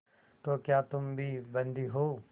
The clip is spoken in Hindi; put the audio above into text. तो क्या तुम भी बंदी हो